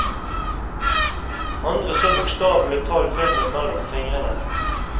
Andre så bokstavelig talt filmen mellom fingrene.